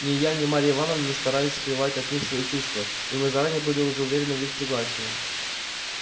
ни я ни марья ивановна не старались скрывать от них свои чувства и мы заранее были уж уверены в их согласии